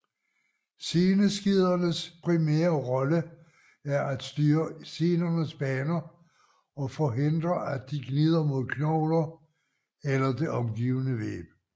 Seneskedernes primære rolle er at styre senernes baner og forhindre at de gnider mod knogler eller det omgivende væv